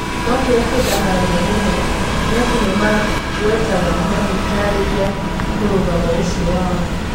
No kĩrĩa kĩndakaragia mũno nĩ atĩ nĩmangwetaga magĩtarĩria mũrũgamo ũcio wao.